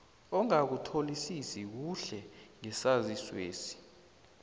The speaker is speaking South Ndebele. ongakutholisisi kuhle ngesaziswesi